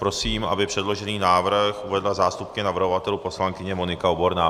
Prosím, aby předložený návrh uvedla zástupkyně navrhovatelů poslankyně Monika Oborná.